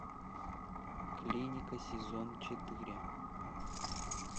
клиника сезон четыре